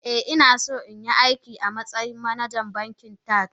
Ah ah inaso inyi aiki amatsayin manajan bankin Taj.